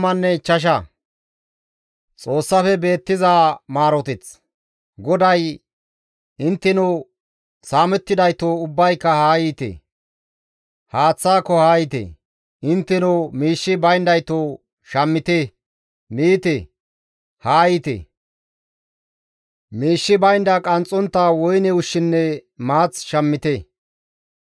GODAY, «Intteno saamettidaytoo ubbayka haa yiite! Haaththaako haa yiite; Intteno miishshi bayndaytoo shammite; miite. Haa yiite; miishshi bayndanne qanxxontta woyne ushshinne maath shammite.